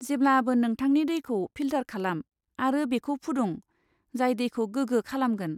जेब्लाबो नोंथांनि दैखौ फिल्टार खालाम आरो बेखौ फुदुं, जाय दैखौ गोग्गो खालामगोन।